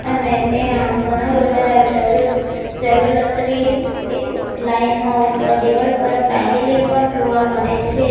અને ટ્યાં ઘણા બધા જવે જ્વેલલરી એક લાઈન મા ઉપર દિવાલ પર ટાંગેલી પણ જોવા મળે છે.